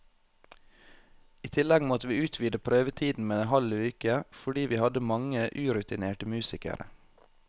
I tillegg måtte vi utvide prøvetiden med en halv uke, fordi vi hadde mange urutinerte musikere.